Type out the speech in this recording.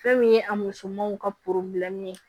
Fɛn min ye a musomanw ka ye